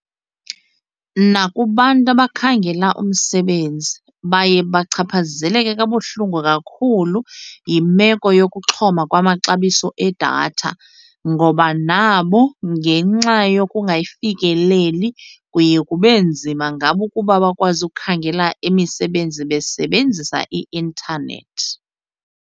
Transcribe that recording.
Nakubantu abakhangela umsebenzi baye bachaphazeleke kabuhlungu kakhulu yimeko yokuxhoma kwamaxabiso edatha ngoba nabo ngenxa yokungayifikeleli kuye kube nzima ngabo ukuba bakwazi ukukhangela imisebenzi basebenzisa i-intanethi.